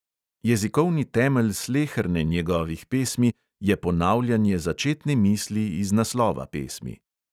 Jezikovni temelj sleherne njegovih pesmi je ponavljanje začetne misli iz naslova pesmi.